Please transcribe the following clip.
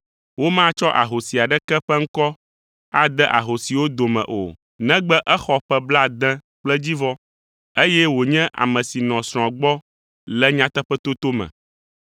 Womatsɔ ahosi aɖeke ƒe ŋkɔ ade ahosiwo dome o, negbe exɔ ƒe blaade kple edzivɔ, eye wònye ame si nɔ srɔ̃a gbɔ le nyateƒetoto me.